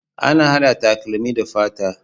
Ana hada takalmi da fata